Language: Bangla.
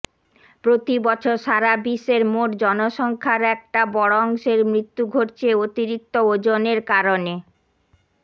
প্রতি বছর সারা বিশ্বের মোট জনসংখ্য়ার একটা বড় অংশের মৃত্যু ঘটছে অতিরিক্ত ওজনের কারণে